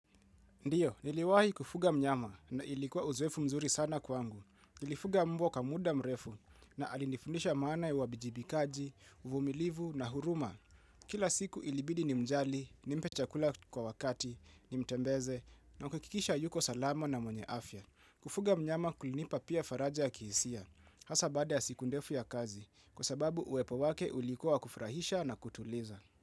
Ndiyo, niliwahi kufuga mnyama na ilikuwa uzoefu mzuri sana kwangu. Nilifuga mbwa kwa muda mrefu na alinifundisha maana ya uwajibikaji, uvumilivu na huruma. Kila siku ilibidi nimjali, nimpe cha kula kwa wakati, nimtembeze na kuhakikisha yuko salama na mwenye afya. Kufuga mnyama kulinipa pia faraja ya kihisia. Hasaa baada ya siku ndefu ya kazi kwa sababu uwepo wake ulikuwa wa kufurahisha na kutuliza.